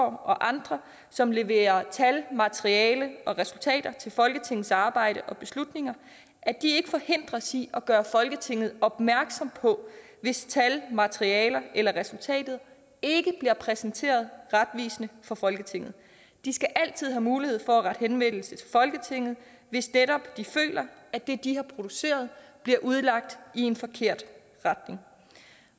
og andre som leverer tal materiale og resultater til folketingets arbejde og beslutninger ikke forhindres i at gøre folketinget opmærksom på hvis tal materialer eller resultater ikke bliver præsenteret retvisende for folketinget de skal altid have mulighed for at rette henvendelse til folketinget hvis de føler at det de har produceret bliver udlagt i en forkert retning